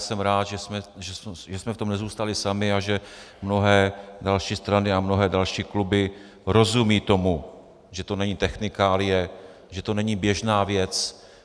Jsem rád, že jsme v tom nezůstali sami a že mnohé další strany a mnohé další kluby rozumějí tomu, že to není technikálie, že to není běžná věc.